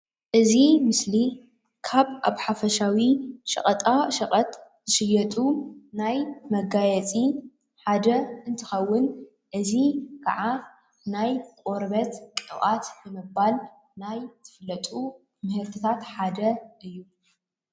እዚ ምስሊ ካብ ኣብ ሓፈሻዊ ሸቀጣሸቀጥ ዝሽየጡ ናይ መጋየፂ ሓደ እንትኸውን እዚ ካዓ ናይ ቆርበት ቅብኣት ብምባል ናይ ዝፍለጡ ምህርቲታት ሓደ እዩ።